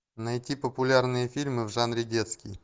найти популярные фильмы в жанре детский